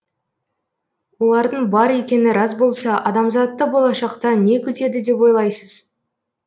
олардың бар екені рас болса адамзатты болашақта не күтеді деп ойлайсыз